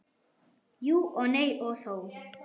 Jú og nei og þó.